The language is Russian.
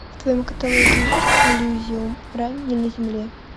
в твоем каталоге есть элизиум рай не на земле